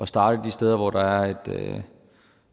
starte de steder hvor der er